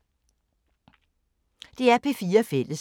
DR P4 Fælles